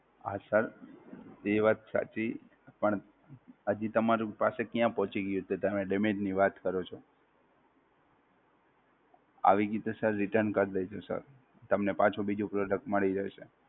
Sir, ઈ વાત સાચી, પણ હજી તમારું parcel ક્યાં પોંચી ગ્યું તે તમે damage ની વાત કરો છો. આવી ગ્યું તો Sir return કરી દેજો સર. તમને પાછું બીજું Product મળી જશે!